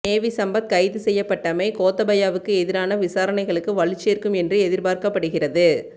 navy Sampath கைது செய்யப்பட்டமை கோத்தபாயவுக்கு எதிரான விசாரணைகளுக்கு வலுச்சேர்க்கும் என்று எதிர்பார்க்கப்படுகிறது